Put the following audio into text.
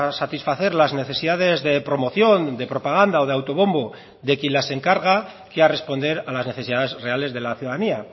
satisfacer las necesidades de promoción de propaganda o de autobombo de quien las encarga que a responder a las necesidades reales de la ciudadanía